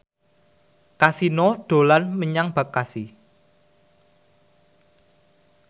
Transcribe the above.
Kasino dolan menyang Bekasi